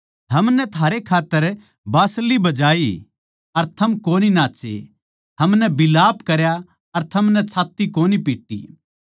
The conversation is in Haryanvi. हमनै थारै खात्तर बाँसली बजाई अर थम कोनी नाच्चे हमनै बिलाप करया अर थमनै छात्त्ती कोनी पिट्टी